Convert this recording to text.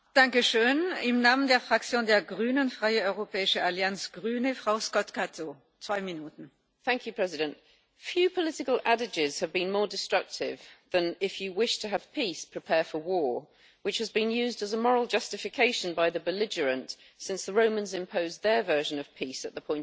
Madam President, few political adages have been more destructive than if you wish to have peace, prepare for war', which has been used as a moral justification by the belligerent since the Romans imposed their version of peace at the point of a sword.